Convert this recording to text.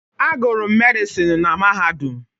Agụrụ m Medịsinu na Mahadum.